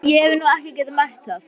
Ég hef nú ekki getað merkt það.